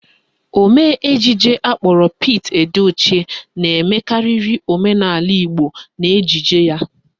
Omee ejije akpọrọ Pete Edochie na-emekarịrị omenaala Igbo n'ejije ya.